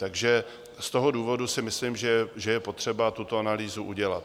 Takže z toho důvodu si myslím, že je potřeba tuto analýzu udělat.